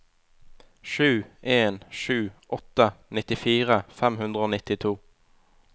sju en sju åtte nittifire fem hundre og nittito